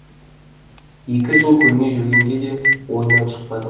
екі жыл көрмей жүргенде де ойынан шықпады